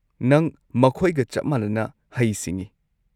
ꯅꯪ ꯃꯈꯣꯏꯒ ꯆꯞ ꯃꯥꯟꯅꯅ ꯍꯩ-ꯁꯤꯡꯉꯤ꯫